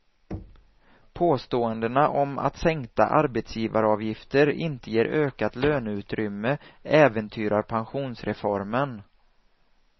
Påståendena om att sänkta arbetsgivaravgifter inte ger ökat löneutrymme äventyrar pensionsreformen.